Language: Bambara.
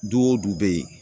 Du o du be ye